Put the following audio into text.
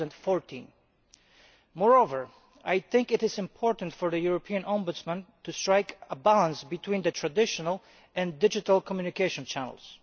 2014. Moreover, I think it is important for the European Ombudsman to strike a balance between the traditional and digital communication channels.